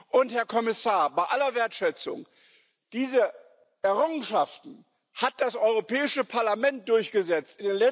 Und Herr Kommissar, bei aller Wertschätzung Diese Errungenschaften hat das Europäische Parlament durchgesetzt.